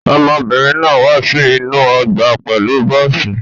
Ọmọbìnrin náà wá sí inú ọgbà pẹ̀lú bọ́ọ́sì.